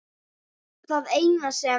Það eina sem